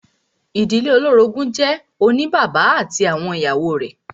Ìdílé olórogún jẹ́ ìdílé oní bàbá ati awọn ìyàwó rẹ̀.